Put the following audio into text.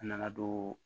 A nana don